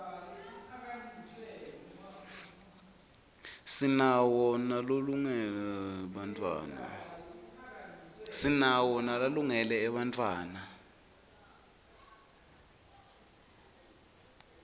sinawo nalolungele bantfwatta